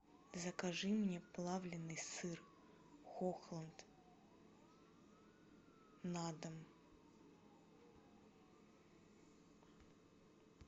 закажи мне плавленный сыр хохланд на дом